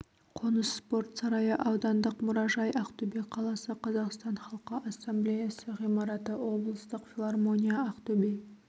қоныс спорт сарайы аудандық мұражай ақтөбе қаласы қазақстан халқы ассамблеясы ғимараты облыстық филармония ақтөбе